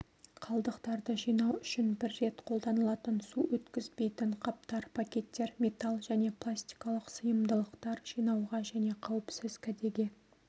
қалдықтарды жинау үшін бір рет қолданылатын су өткізбейтін қаптар пакеттер металл және пластикалық сыйымдылықтар жинауға және қауіпсіз кәдеге